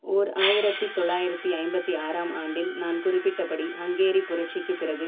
ஓர் ஆயிரத்தி தொள்ளாயிரத்தி ஐம்பத்தி ஆறாம் ஆண்டில் நான் குறிப்பிட்டபடி ஹங்கேரிய புரட்சிக்கு பிறகு